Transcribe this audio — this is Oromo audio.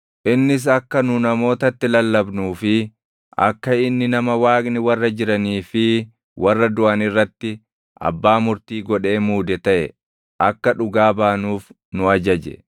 Innis akka nu namootatti lallabnuu fi akka inni nama Waaqni warra jiranii fi warra duʼan irratti abbaa murtii godhee muude taʼe akka dhugaa baanuuf nu ajaje.